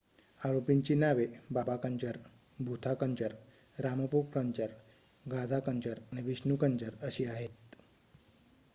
आरोपींची नावे बाबा कंजर भूथा कंजर रामप्रो कंजर गाझा कंजर आणि विष्णू कंजर अशी आहेत